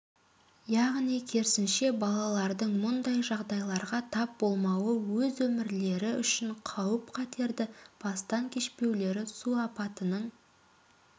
яғни керісінше балалардың мұндай жағдайларға тап болмауы өз өмірлері үшін қауіп-қатерді бастан кешпеулері су апатының